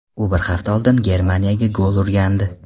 U bir hafta oldin Germaniyaga gol urgandi .